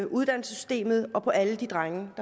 uddannelsessystemet og på alle de drenge